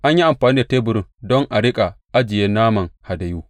An yi amfani da teburin don a riƙa ajiye naman hadayu.